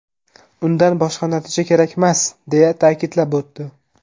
Undan boshqa natija kerakmas”, − deya ta’kidlab o‘tdi.